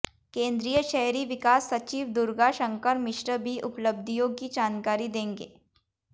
केंद्रीय शहरी विकास सचिव दुर्गा शंकर मिश्र भी उपलब्धियों की जानकारी देंगे